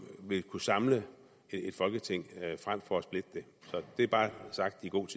vil kunne samle folketinget frem for at splitte det det er bare sagt i god